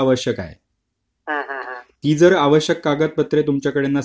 ती जर आवश्यक कागदपत्रे तुमच्याकडे नसतील तर तुमचा अर्ज रद्द केला जाऊ शकतो